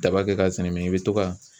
Daba kɛ ka sɛnɛ i bɛ to ka